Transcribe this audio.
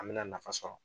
An bɛna nafa sɔrɔ